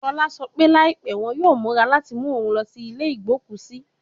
Shola sọ pe laipẹ wọn yoo mura lati mu oun lọ si ile igboku si